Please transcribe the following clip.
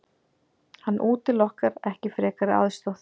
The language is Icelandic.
Hann útilokar ekki frekari aðstoð.